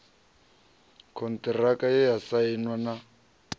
konṱiraka ye ya sainwa na